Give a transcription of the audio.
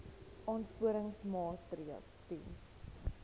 aansporingsmaatre ls diens